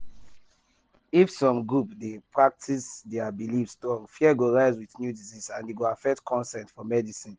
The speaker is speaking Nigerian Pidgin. if some groups dey practice their belief strong fear go rise with new disease and e go affect consent for medicine.